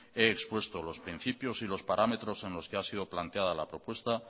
he expuesto los principios y los parámetros en los que ha sido planteada la propuesta